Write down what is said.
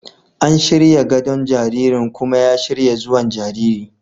An shirya gadon jaririn kuma ya shirya zuwan jariri.